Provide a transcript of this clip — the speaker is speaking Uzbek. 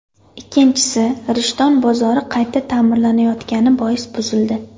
Ikkinchisi Rishton bozori qayta ta’mirlanayotgani bois buzildi.